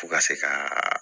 F'u ka se ka